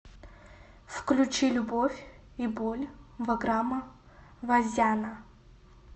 включи любовь и боль ваграма вазяна